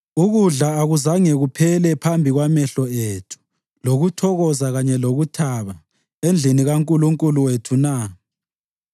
Ukudla akuzange kuphele phambi kwamehlo ethu, lokuthokoza kanye lokuthaba endlini kaNkulunkulu wethu na?